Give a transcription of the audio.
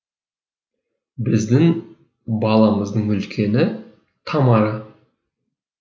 біздің баламыздың үлкені тамара